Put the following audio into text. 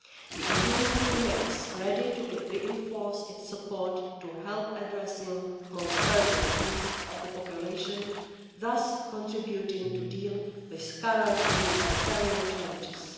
The EU remains ready to reinforce its support to help address the most urgent needs of the population, thus contributing to dealing with current humanitarian challenges.